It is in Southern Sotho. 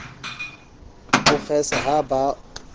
o kgesa ha ba o